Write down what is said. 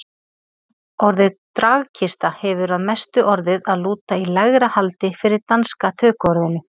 Orðið dragkista hefur að mestu orðið að lúta í lægra haldi fyrir danska tökuorðinu.